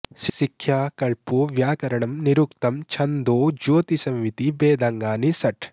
शिक्षा कल्पो व्याकरणं निरुक्तं छन्दो ज्योतिषमिति वेदाङ्गानि षट्